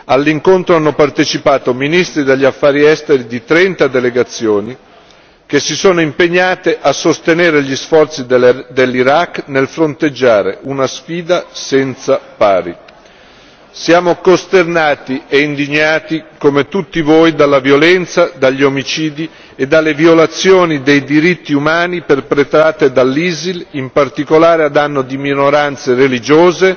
All'incontro hanno partecipato ministri degli Affari esteri di trenta delegazioni che si sono impegnate a sostenere gli sforzi dell'Iraq nel fronteggiare una sfida senza pari. Siamo costernati e indignati, come tutti voi, dalla violenza, dagli omicidi e dalle violazioni dei diritti umani perpetrati dall'ISIL, in particolare a danno di minoranze religiose,